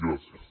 gràcies